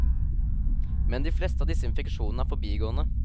Men de fleste av disse infeksjonene er forbigående.